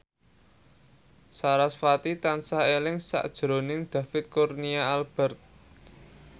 sarasvati tansah eling sakjroning David Kurnia Albert